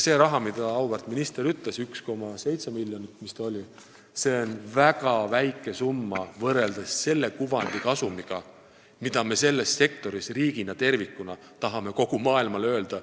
See 1,7 miljonit, mida auväärt minister nimetas, on väga väike summa võrreldes sellest kuvandist saadavale kasule, mida me riigina tervikuna tahame selles sektoris kogu maailmale öelda.